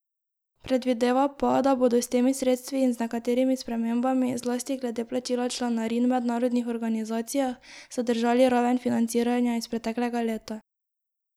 Predvideva pa, da bodo s temi sredstvi in z nekaterimi spremembami, zlasti glede plačila članarin v mednarodnih organizacijah, zadržali raven financiranja iz preteklega leta.